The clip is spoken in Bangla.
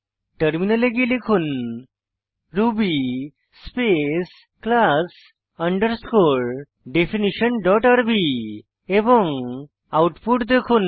টার্মিনালে গিয়ে লিখুন Ruby space class underscore definition dot RB এবং আউটপুট দেখুন